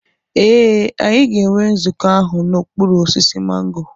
Ee, anyị ga-enwe nzukọ ahụ n'okpuru osisi mango.